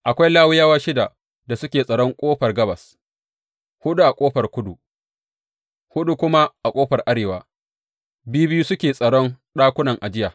Akwai Lawiyawa shida da suke tsaron ƙofar gabas, huɗu a ƙofar kudu, huɗu kuma a ƙofar arewa, biyu biyu suke tsaron ɗakunan ajiya.